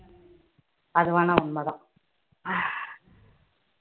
அது வேணா உண்மைதான்